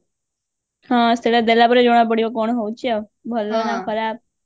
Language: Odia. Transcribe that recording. ହଁ ସେଇଟା ଦେଲା ପରେ ଜଣ ପଡିବ କଣ ହଉଛି ଆଉ ଭଲ ନା ଖରାପ